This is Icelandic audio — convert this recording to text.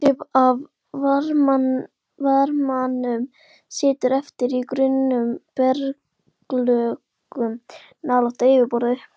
Hluti af varmanum situr eftir í grunnum berglögum nálægt yfirborði.